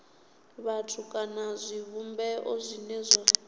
vhathu kana zwivhumbeo zwine zwa